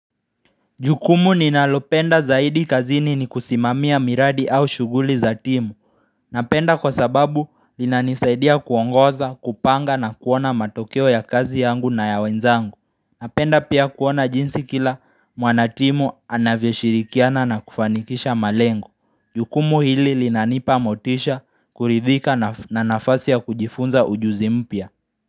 Jukumu ninalopenda zaidi kazini ni kusimamia miradi au shughuli za timu Napenda kwa sababu inanisaidia kuongoza kupanga na kuona matokeo ya kazi yangu na ya wenzangu. Napenda pia kuona jinsi kila mwanatimu anavyo shirikiana na kufanikisha malengo Jukumu hili linanipa motisha kuridhika na nafasi ya kujifunza ujuzi mpya.